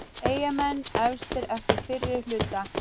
Eyjamenn efstir eftir fyrri hluta